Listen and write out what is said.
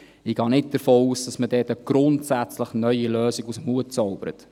Ich gehe nicht davon aus, dass man dort eine grundsätzlich neue Lösung aus dem Hut zaubert.